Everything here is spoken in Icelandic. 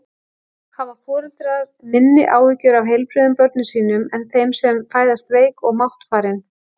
Hafa foreldrar minni áhyggjur af heilbrigðum börnum sínum en þeim sem fæðast veik og máttfarin?